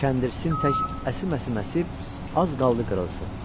Kəndir sim tək əsim-əsim əsib, az qaldı qırılsın.